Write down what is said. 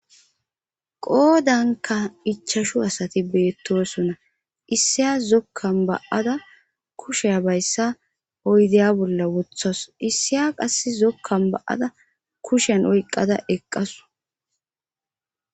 qoodanka ichashu asati beettosona issiyas zokkan ba7ada kushe a bayssa oydeya bolla wothos issiya qass zokkan ba7ada kushen oyqqada eqqasu